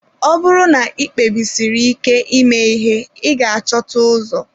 Ọ bụrụ na ị kpebisiri ike ime ihe ị ga-achọta ụzọ.